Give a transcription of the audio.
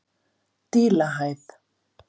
Dílahæð